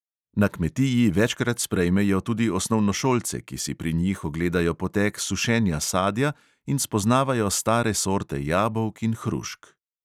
Na kmetiji večkrat sprejmejo tudi osnovnošolce, ki si pri njih ogledajo potek sušenja sadja in spoznavajo stare sorte jabolk in hrušk.